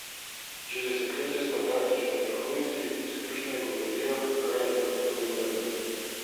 Že desetletje smo taktično vrhunski, izkušnje govorijo, kaj in kako delujemo.